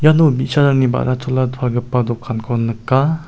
no bi·sarangni ba·ra-chola palgipa dokanko nika.